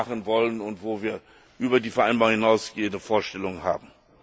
noch mehr machen wollen und wo wir über die Vereinbarung hinausgehende Vorstellungen haben.